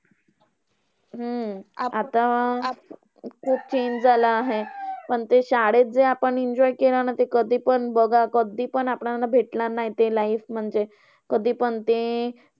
हम्म आता खूप change झालं आहे. पण ते शाळेत जे आपण enjoy केलं ना, ते कधीपण बघा, कधीपण आपल्याला भेटणार नाही. ते life म्हणजे कधीपण ते